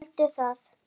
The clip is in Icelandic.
Veldu það.